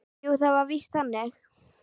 Jú, það var víst þannig.